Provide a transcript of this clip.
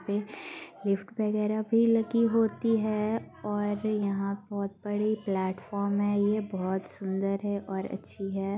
पे-- लिफ्ट वागरह भी लगी होती है और यहा बहुत बड़ी प्लेटफ़ॉर्म है ये बहुत सुंदर है और अच्छी है।